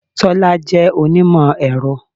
Tọ́lá jẹ́ onímọ̀-ẹ̀rọ.